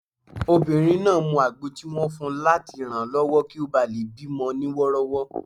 Obìnrin náà mu àgbo tí wọ́n fun láti ranlọwọ kí ó bá lè bí mọ ní wọ́rọ́wọ́